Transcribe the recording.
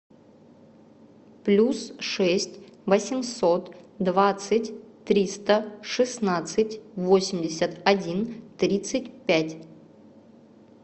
плюс шесть восемьсот двадцать триста шестнадцать восемьдесят один тридцать пять